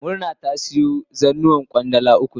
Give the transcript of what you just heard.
Murna ta siyo zannuwan Kwandala uku ne.